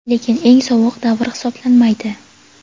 lekin eng sovuq davr hisoblanmaydi.